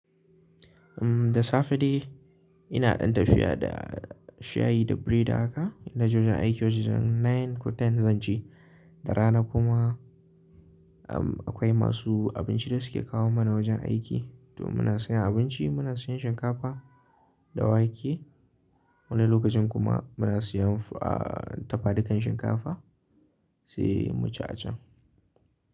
Umm, da safe dai ina ɗin tafiya da shayi da biredi haka. Ina je wajen aiki wajen jan 9 ko 10 zan ce. Da rana kuma, umm, akwai masu abinci da suke kawo mana wajen aiki. To muna sayan abinci, muna sayan shinkafa da wake. Wani lokacin kuma muna siyan, ahh, dafadukan shinkafa sai mu ci a can.